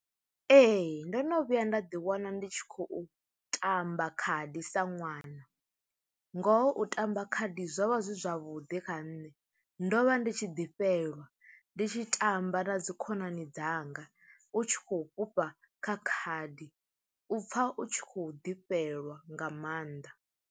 Ee ndo no vhuya nda ḓi wana ndi tshi khou tamba khadi sa ṅwana, ngoho u tamba khadi zwo vha zwi zwavhuḓi kha nṋe ndo vha ndi tshi ḓi fhelelwa ndi tshi tamba na dzi khonani dzanga u tshi khou fhufha kha khadi u pfha u tshi khou ḓi fhelelwa nga maanḓa.